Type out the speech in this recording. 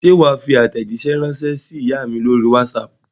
Ṣé wà á fi àtẹ̀jíṣẹ́ ránṣẹ́ sí ìyá mi lórí WhatsApp?